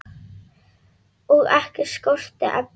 Og ekki skorti efni.